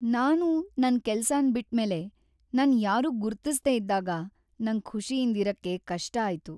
ನಾನು ನನ್ ಕೆಲಸನ್ ಬಿಟ್ ಮೇಲೆ ನನ್ ಯಾರೂ ಗುರ್ತಿಸ್ದೆ ಇದ್ದಾಗ ನಂಗ್ ಖುಷಿಯಿಂದ್ ಇರಕೆ ಕಷ್ಟ ಆಯ್ತು.